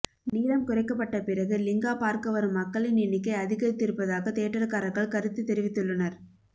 நீளம் குறைக்கப்பட்ட பிறகு லிங்கா பார்க்க வரும் மக்களின் எண்ணிக்கை அதிகரித்திருப்பதாக தியேட்டர்காரர்கள் கருத்து தெரிவித்துள்ளனர்